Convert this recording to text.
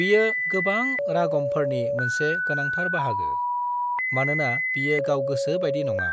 बियो गोबां रागमफोरनि मोनसे गोनांथार बाहागो, मानोना बियो गाव गोसो बायदि नङा,